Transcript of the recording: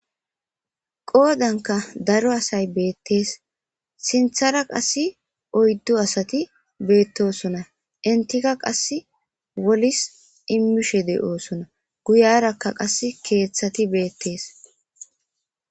qoodanka daro asay beettees sinthara qassi oyddu asati beettosona entika qas wolis immishe de7oosona guyarakka qas keeththati beettees